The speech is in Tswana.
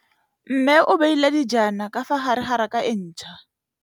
Mmê o beile dijana ka fa gare ga raka e ntšha.